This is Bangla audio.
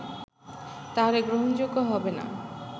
তাহলে গ্রহণযোগ্য হবেনা”